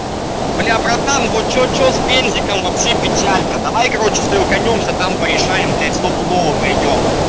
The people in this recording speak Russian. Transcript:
блять братан вот что что с бензином вообще печалька давай короче с тобою стыканёмся и там порешаем блять стопудово найдёт